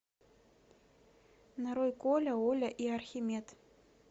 нарой коля оля и архимед